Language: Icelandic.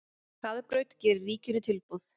Hraðbraut gerir ríkinu tilboð